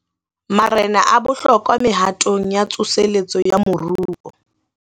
Marena a bohlokwa mehatong ya tsoseletso ya moruo